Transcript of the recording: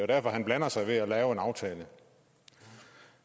derfor at han blander sig ved at lave en aftale